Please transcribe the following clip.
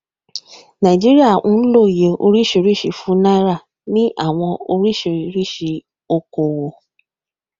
naijiria ń lọ òye oríṣiríṣi fún náírà ni àwọn oríṣiríṣi ọkọ owó